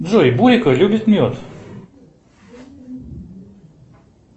джой бойко любит мед